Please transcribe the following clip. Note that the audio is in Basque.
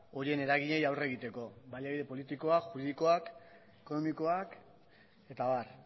horien eragileei aurre egiteko baliabide politikoak juridikoak ekonomikoak eta abar